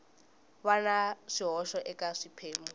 va na swihoxo eka swiphemu